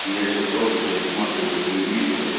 я сейчас просто пересматриваю видео